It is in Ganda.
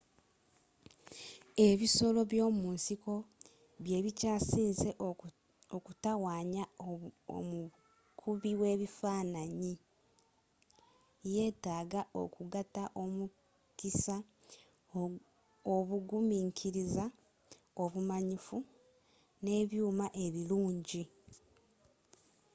ebisolo by'omunsiko bye bikyasiinze okutawanya omukubi w'ebifaananyi yetaaga okugatta omukisa obugumikiriza obumanyifu n'ebyuuma ebirungi